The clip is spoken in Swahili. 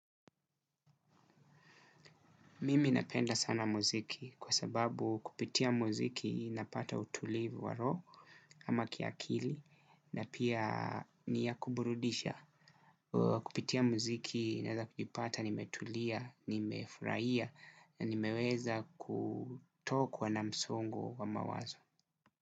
Mimi napenda sana muziki kwa sababu kupitia muziki napata utulivu wa roho ama kiakili na pia ni ya kuburudisha. Kupitia muziki naeza kujipata nimetulia, nimefurahia, na nimeweza kutokwa na msongo wa mawazo.